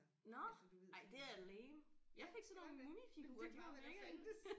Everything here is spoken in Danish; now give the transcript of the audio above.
Nåh ej det er lame jeg fik sådan nogle mumifigurer de var mega nuttede